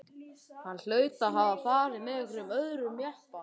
Hann hlaut að hafa farið með einhverjum öðrum jeppa.